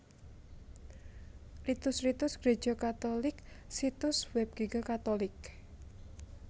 Ritus Ritus Gréja Katulik Situs Web Giga catholic